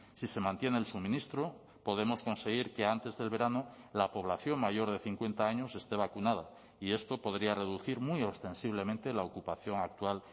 si se mantiene el suministro podemos conseguir que antes del verano la población mayor de cincuenta años este vacunada y esto podría reducir muy ostensiblemente la ocupación actual